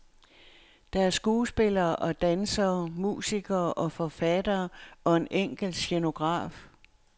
Der er skuespillere og dansere, musikere og forfattere og en enkelt scenograf.